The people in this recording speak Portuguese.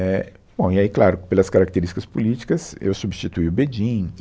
É, bom, e aí, claro, pelas características políticas, eu substituí o Bedin.